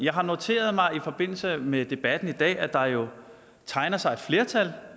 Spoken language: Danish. har noteret mig i forbindelse med debatten i dag at der jo tegner sig et flertal